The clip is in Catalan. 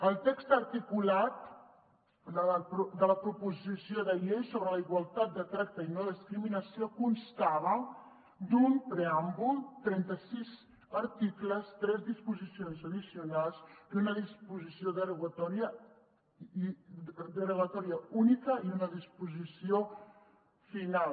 el text articulat de la proposició de llei sobre la igualtat de tracte i no discriminació constava d’un preàmbul trenta sis articles tres disposicions addicionals una disposició derogatòria única i una disposició final